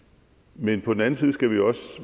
men på den anden side skal vi også